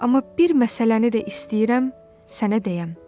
Amma bir məsələni də istəyirəm sənə deyəm.